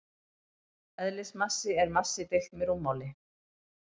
Eðlismassi er massi deilt með rúmmáli.